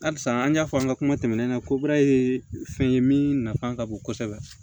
Barisa an y'a fɔ an ka kuma tɛmɛnenw na ko baara ye fɛn ye min nafa ka bon kosɛbɛ